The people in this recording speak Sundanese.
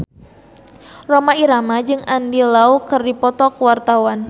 Rhoma Irama jeung Andy Lau keur dipoto ku wartawan